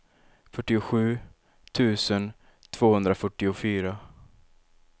fyrtiosju tusen tvåhundrafyrtiofyra